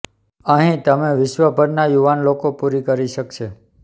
અહીં તમે વિશ્વભરના યુવાન લોકો પૂરી કરી શકે છે